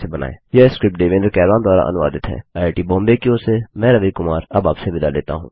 यह स्क्रिप्ट देवेन्द्र कैरवान द्वारा अनुवादित है आईआईटी बॉम्बे की ओर से मैं रवि कुमार अब आपसे विदा लेता हूँ